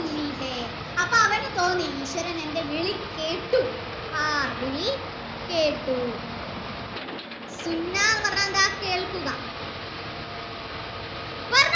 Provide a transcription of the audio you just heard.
അപ്പൊ അവന് തോന്നി ഈശ്വരൻ എൻ്റെ വിളി കേട്ടു ആ വിളി കേട്ടു എന്ന് പറഞ്ഞാൽ കേൾക്കുക